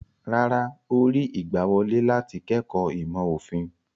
Rárá, ó rí ìgbàwọlé láti kẹ́kọ̀ọ́ ìmọ̀-òfin.